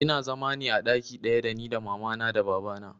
Ina zama ne a ɗaki ɗaya da ni da mama na da baba na